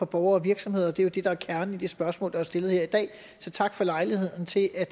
borgere og virksomheder og det er jo det der er kernen i det spørgsmål der er stillet her i dag så tak for lejligheden til at